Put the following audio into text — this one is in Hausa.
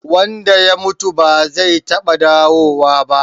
Wanda ya mutu ba zai taɓa dawowa ba.